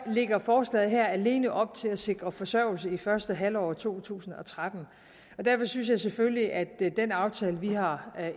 lægger forslaget alene op til at sikre forsørgelse i første halvår af to tusind og tretten derfor synes jeg selvfølgelig at den aftale vi har